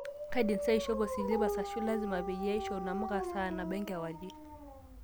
kaidim saa aishopo silipas ashu lazima peyie aishop namuka saa nabo enkewarie